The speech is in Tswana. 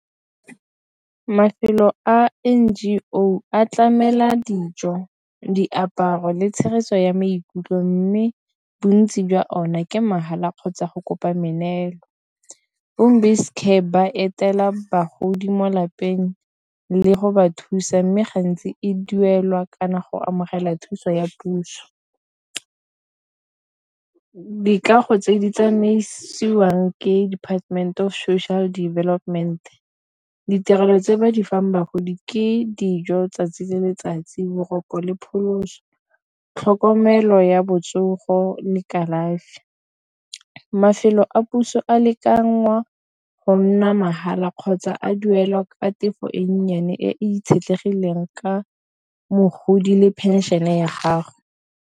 Mafelo a N_G_O a tlamela dijo, diaparo le tshegetso ya maikutlo mme bontsi jwa ona ke mahala, kgotsa go kopa meneelo bombas ka ba etela bagodi mo lapeng le go ba thusa mme gantsi e duelwa kana go amogela thuso ya puso. Ka dikago tse di tsamaisiwang ke Department of Social Development ditirelo tse ba di fang bagodi ke dijo 'tsatsi le letsatsi boroko le pholoso tlhokomelo ya botsogo ne kalafi selo a puso a le ka ngwa go nna mahala kgotsa a duela tefo e nnyane e itshetlegile teng ka mogodi le phenšene ya gago.